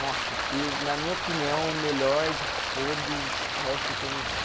Nossa, que na minha opinião o melhor de todos é o Super Nintendo.